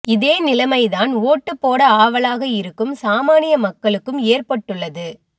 இதே நிலைமை தான் ஓட்டு போட ஆவலாக இருக்கும் சாமானிய மக்களுக்கும் ஏற்பட்டுள்ளது